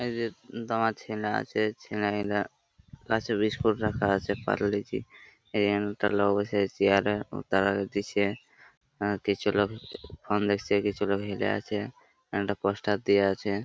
এই যে দামা ছেলা আছে ছেলাগুলা কাছে বিস্কুট রাখা আছে পার্লে জি । এখানে কটা লোক বসে আছে চেয়ার -এ ও তারাকে দিছে আ-আ কিছু লোক ফোন দেখছে কিছু লোক হেলে আছে। একটা পোস্টার দিয়া আছে।